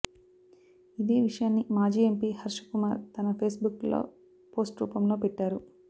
ఇదే విషయాన్ని మాజీ ఎంపీ హర్షకుమార్ తన ఫేస్బుక్లో పోస్ట్ రూపంలో పెట్టారు